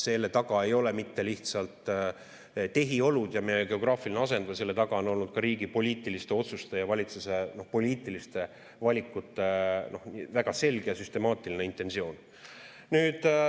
Selle taga ei ole mitte lihtsalt tehiolud ja meie geograafiline asend, vaid selle taga on olnud ka riigi poliitiliste otsuste ja valitsuse poliitiliste valikute väga selge ja süstemaatiline intentsioon.